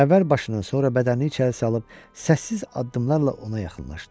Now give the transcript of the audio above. Əvvəl başını, sonra bədənini içəri salıb səssiz addımlarla ona yaxınlaşdı.